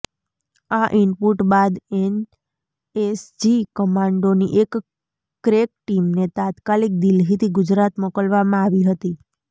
આ ઈનપુટ બાદ એનએસજી કમાન્ડોની એક ક્રેક ટીમને તાત્કાલિક દિલ્હીથી ગુજરાત મોકલવામાં આવી હતી